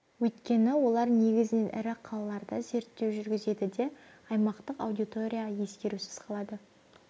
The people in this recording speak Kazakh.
өйткені олар негізінен ірі қалаларда зерттеу жүргізеді де аймақтық аудитория ескерусіз қалады